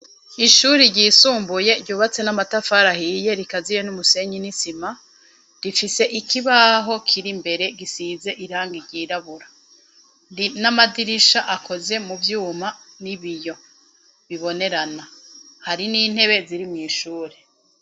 Ishuri ryisumbuye ryubatse n'amatafari ahiye rikaziye n'umusenyi n'isima, rifise ikibaho kiri mbere gisize irangi ryirabura n'amadirisha akoze mu vyuma n'ibiyo bibonerana, hari n'intebe ziri mw'ishuri.